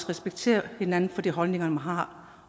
respektere hinanden for de holdninger man har